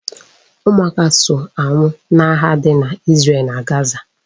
Ụmụaka so anwụ n'agha dị na Izrel na Gaza